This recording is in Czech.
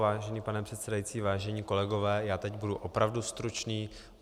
Vážený pane předsedající, vážení kolegové, já teď budu opravdu stručný.